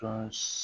Tɔn